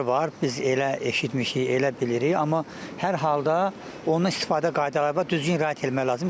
Biz elə eşitmişik, elə bilirik, amma hər halda ondan istifadə qaydaları var, düzgün riayət etmək lazımdır.